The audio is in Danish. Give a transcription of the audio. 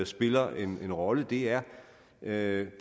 spiller en rolle er er